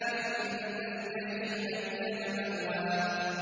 فَإِنَّ الْجَحِيمَ هِيَ الْمَأْوَىٰ